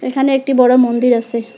এখানে একটি বড় মন্দির আসে।